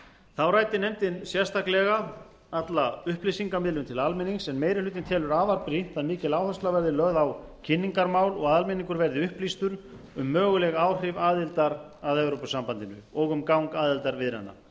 þá ræddi nefndin sérstaklega alla upplýsingamiðlun til almennings en meiri aukinn telur afar brýnt að mikil áhersla verði lögð á kynningarmál og almenningur verði upplýstur um möguleg áhrif aðildar að evrópusambandinu og um gang aðildarviðræðna